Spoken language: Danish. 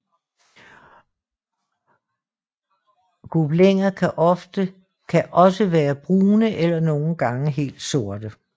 Gobliner kan også være brune eller nogle gange helt sorte